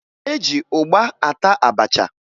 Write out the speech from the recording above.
E ji ụgba ata abacha